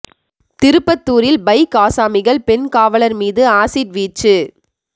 திருப்பத்தூரில் பைக் ஆசாமிகள் பெண் காவலர் மீது ஆசிட் வீச்சு